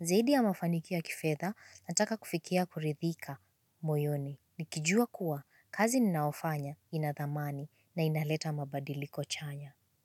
Zaidi ya mafanikio ya kifedha, nataka kufikia kuridhika moyoni. Nikijua kuwa, kazi nnaofanya, ina thamani, na inaleta mabadiliko chanya.